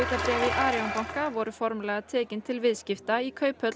Arion banka voru formlega tekin til viðskipta í Kauphöll